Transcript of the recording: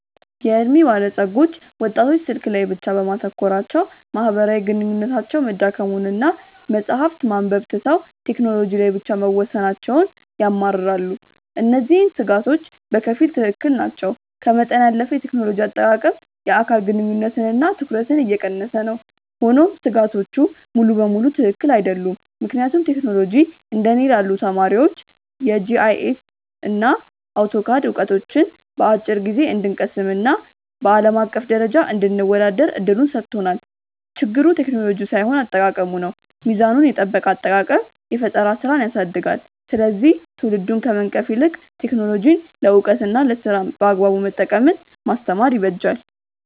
የዕድሜ ባለጸጎች ወጣቶች ስልክ ላይ ብቻ በማተኮራቸው ማህበራዊ ግንኙነታቸው መዳከሙንና መጽሐፍት ማንበብ ትተው ቴክኖሎጂ ላይ ብቻ መወሰናቸውን ያማርራሉ። እነዚህ ስጋቶች በከፊል ትክክል ናቸው፤ ከመጠን ያለፈ የቴክኖሎጂ አጠቃቀም የአካል ግንኙነትንና ትኩረትን እየቀነሰ ነው። ሆኖም ስጋቶቹ ሙሉ በሙሉ ትክክል አይደሉም፤ ምክንያቱም ቴክኖሎጂ እንደ እኔ ላሉ ተማሪዎች የጂአይኤስና አውቶካድ ዕውቀትን በአጭር ጊዜ እንድንቀስምና በአለም አቀፍ ደረጃ እንድንወዳደር እድል ሰጥቶናል። ችግሩ ቴክኖሎጂው ሳይሆን አጠቃቀሙ ነው። ሚዛኑን የጠበቀ አጠቃቀም የፈጠራ ስራን ያሳድጋል፤ ስለዚህ ትውልዱን ከመንቀፍ ይልቅ ቴክኖሎጂን ለዕውቀትና ለስራ በአግባቡ መጠቀምን ማስተማር ይበጃል።